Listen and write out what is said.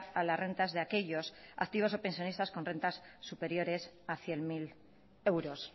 a las rentas de aquellos activos o pensionistas con rentas superiores a cien mil euros